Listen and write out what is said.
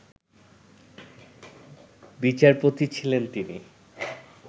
বিচারপতি ছিলেন তিনি